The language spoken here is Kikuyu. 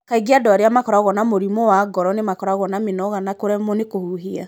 Kaingĩ andũ arĩa makoragwo na mũrimũ wa ngoro nĩ makoragwo na mĩnoga na kũremwo nĩ kũhuhia.